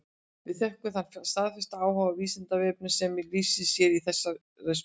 Við þökkum þann staðfasta áhuga á Vísindavefnum sem lýsir sér í þessari spurningu.